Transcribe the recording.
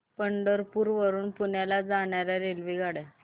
पंढरपूर वरून पुण्याला जाणार्या रेल्वेगाड्या